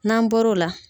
N'an bɔr'o la